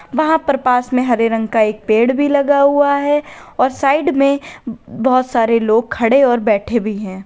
वहां पर पास में हरे रंग का एक पेड़ भी लगा हुआ है और साइड में बोहोत सारे लोग खड़े और बैठे भी हैं।